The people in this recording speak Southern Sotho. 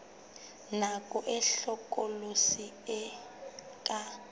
nako e hlokolosi e ka